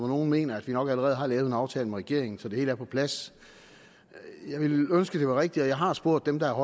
nogle mener at vi nok allerede har lavet en aftale med regeringen så det hele er på plads at jeg ville ønske det var rigtigt jeg har spurgt dem der er